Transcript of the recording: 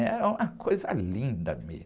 Era uma coisa linda mesmo.